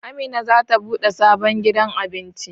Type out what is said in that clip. Amina zata bude sabon gidan Abinci